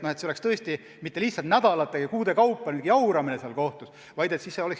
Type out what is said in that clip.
Jauramine kohtus ei tohiks tõesti kesta nädalate ja kuude kaupa.